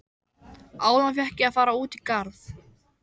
Áðan fékk ég að fara út í garð.